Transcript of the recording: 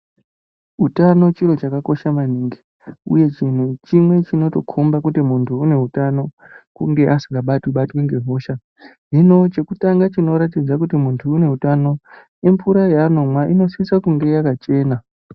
Utano chiro chakakosha maningi, uye chinhu chimwe chinotokhomba kuti muntu une utano kunge asikabatwibatwi ngehosha. Hino chekutanga chinoratidze kuti muntu une utano imvura yaanomwa inosise kunge yakachena.